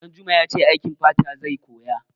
Ɗanjuma ya ce aikin fata zai koya.